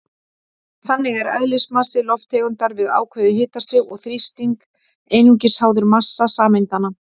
Þannig er eðlismassi lofttegundar við ákveðið hitastig og þrýsting einungis háður massa sameindanna.